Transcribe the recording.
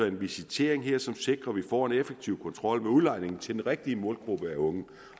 en visitering som sikrer at vi får en effektiv kontrol med udlejningen til den rigtige målgruppe af unge